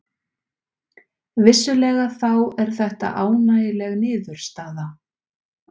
Vissulega þá er þetta ánægjuleg niðurstaða